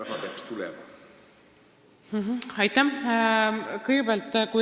Aitäh!